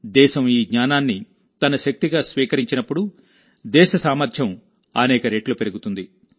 దేశం ఈ జ్ఞానాన్ని తన శక్తిగా స్వీకరించినప్పుడు దేశ సామర్థ్యం అనేక రెట్లు పెరుగుతుంది